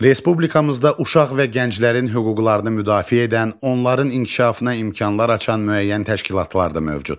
Respublikamızda uşaq və gənclərin hüquqlarını müdafiə edən, onların inkişafına imkanlar açan müəyyən təşkilatlar da mövcuddur.